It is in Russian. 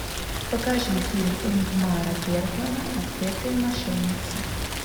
покажи фильм ингмара бергмана отпетые мошенницы